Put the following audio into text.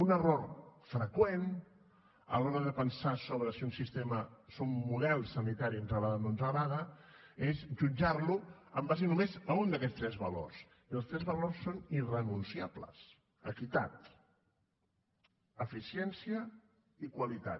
un error freqüent alhora de pensar sobre si un sistema si un model sanitari ens agrada o no ens agrada és jutjar lo en base només a un d’aquests tres valors i els tres valors són irrenunciables equitat eficiència i qualitat